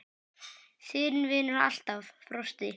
Þinn vinnur alltaf, Frosti.